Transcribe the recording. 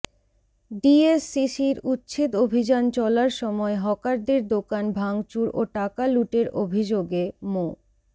ডিএসসিসির উচ্ছেদ অভিযান চলার সময় হকারদের দোকান ভাংচুর ও টাকা লুটের অভিযোগে মো